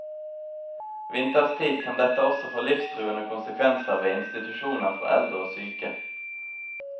Vinterstid kan dette også få livstruende konsekvenser ved institusjoner for eldre og syke.